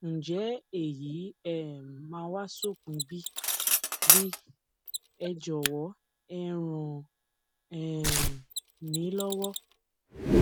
ǹjẹ èyí máa um wá sópin bí bí ẹ jọwọ ẹ ràn um mí lọwọ